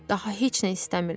Daha heç nə istəmirlər.